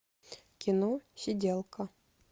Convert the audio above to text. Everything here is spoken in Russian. кино сиделка